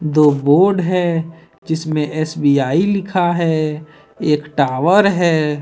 दो बोर्ड है जिसमें एस_बी_आई लिखा है एक टॉवर है ।